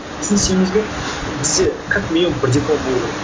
біз не істеуіміз керек бізде как минимум бір диплом болуы керек